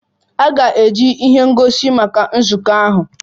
A ga-eji ihe ngosi maka nzukọ ahụ.